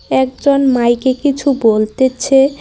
একজন মাইক -এ কিছু বলতেছে।